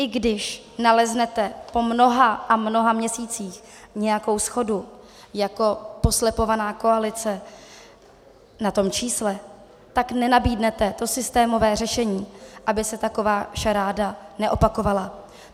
I když naleznete po mnoha a mnoha měsících nějakou shodu jako poslepovaná koalice na tom čísle, tak nenabídnete to systémové řešení, aby se taková šaráda neopakovala.